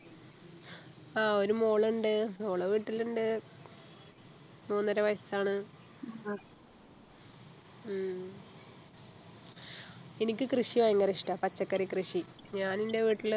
ആഹ് ഒരു മോളുണ്ട് മോള് വീട്ടിലുണ്ട് മൂന്നര വയസ്സാണ് ഉം എനിക്ക് കൃഷി ഭയങ്കര ഇഷ്ട പച്ചക്കറി കൃഷി ഞാൻ എൻ്റെ വീട്ടിൽ